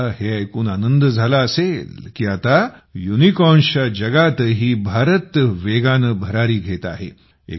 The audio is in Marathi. तुम्हाला हे ऐकून खूप आनंद झाला असेल की आता युनिकॉर्न्स च्या जगातही भारत वेगाने भरारी घेत आहे